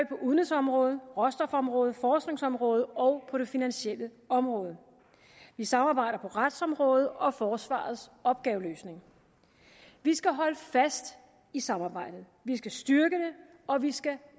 på udenrigsområdet råstofområdet forskningsområdet og på det finansielle område vi samarbejder på retsområdet og om forsvarets opgaveløsning vi skal holde fast i samarbejdet vi skal styrke det og vi skal